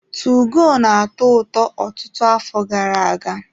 2GO na-atọ ụtọ ọtụtụ afọ gara-aga.